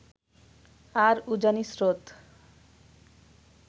আর উজানি স্রোত